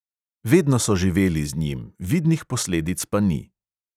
Vedno so živeli z njim, vidnih posledic pa ni.